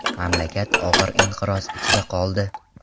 Mamlakat og‘ir inqiroz ichida qoldi.